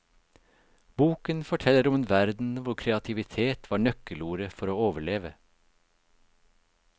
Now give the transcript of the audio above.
Boken forteller om en verden hvor kreativitet var nøkkelordet for å overleve.